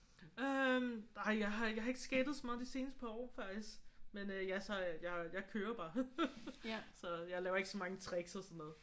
Øh nej jeg har ikke jeg har ikke skatet så meget de seneste par år faktisk. Men øh jeg så jeg jeg kører bare. Så jeg laver ikke så mange tricks og sådan noget